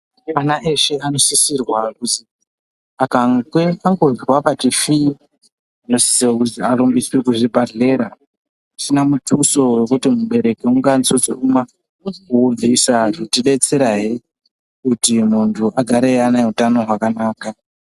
Ana eshe anosisirwa ,akange angozwa pati fii anosise kuzivarumbe kuzvibhahlera zvisina mutuso kuti mubereki ungazi ungabvisa .Zvichideterahe kuti muntu agare anehutano hwakanaka.